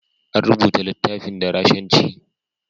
An rubuta littafin da Rashanci.